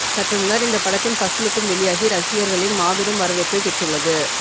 சற்றுமுன்னர் இந்த படத்தின் ஃபர்ஸ்ட்லுக்கும் வெளியாகி ரசிகர்களின் மாபெரும் வரவேற்பை பெற்றுள்ளது